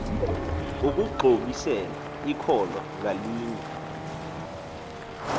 ukuxhobisela ikholwa ngalinye